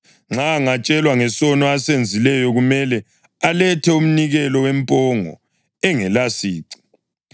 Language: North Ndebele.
Nxa angatshelwa ngesono asenzileyo kumele alethe umnikelo wempongo engelasici.